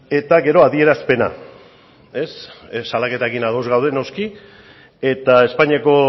eta gero adierazpena ez salaketarekin ados gaude noski eta espainiako